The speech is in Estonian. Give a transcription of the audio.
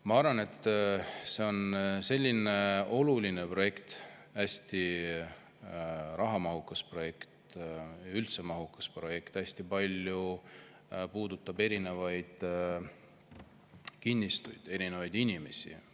Ma arvan, et see on oluline projekt, hästi rahamahukas projekt, üldse mahukas projekt, puudutab hästi palju erinevaid kinnistuid, erinevaid inimesi.